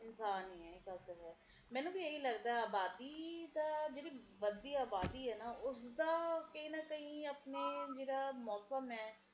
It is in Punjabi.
ਮੀਹ ਪਯੀ ਜਾਵੇ ਪਯੀ ਜਾਵੇ ਫਿਰ ਇੱਕਦਮ ਇੱਦਾ ਲੱਗਦਾ ਕੇ ਕੀ ਯਾਰ ਬਸ ਕਰ ਹੁਣ ਆਪਣੇ ਵਰਗੇ ਰਬ ਨੂੰ ਗੱਲਾਂ ਕੱਢਦੇ ਆ ਕੀ ਬਸ ਕਰ ਰੱਬਾ ਕੋਈ ਨਾ